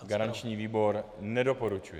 Garanční výbor nedoporučuje.